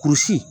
Kurusi